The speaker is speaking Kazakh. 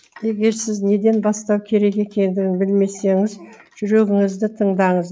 егер сіз неден бастау керек екендігін білмесеңіз жүрегіңізді тыңдаңыз